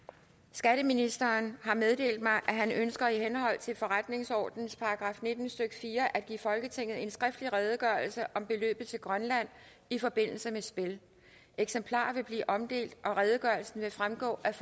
skatteministeren har meddelt mig at han ønsker i henhold til forretningsordenens § nitten stykke fire at give folketinget en skriftlig redegørelse af om beløbet til grønland i forbindelse med spil eksemplarer vil blive omdelt og redegørelsen vil fremgå af